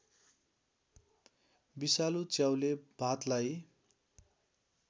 विषालु च्याउले भातलाई